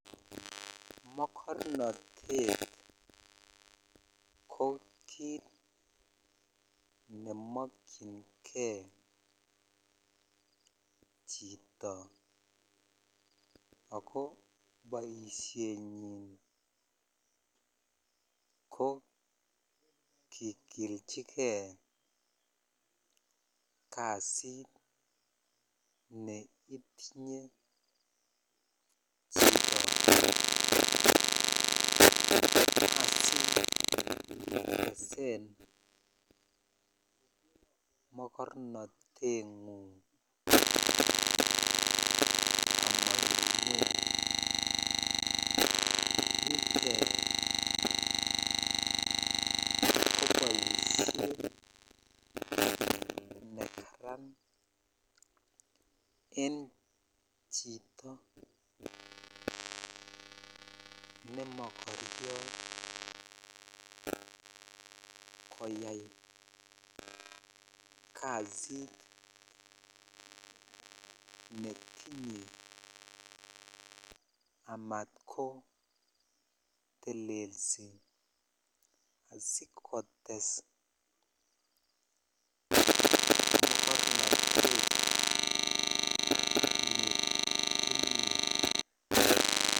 Mokornotet ko kit nemokiyn gei chito ako boishengung ko kigilchigei kasit mokornotet en ko boisheten chito nemokoriot koyai kasit netinye amatko telelsi mokornotet